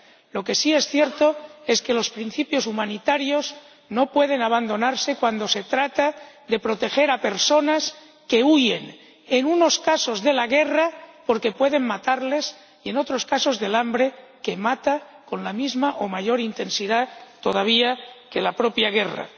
Lo que sí es cierto es que los principios humanitarios no pueden abandonarse cuando se trata de proteger a personas que huyen en unos casos de la guerra, porque puede matarles, y en otros casos del hambre, que mata con la misma o mayor intensidad todavía que la propia guerra.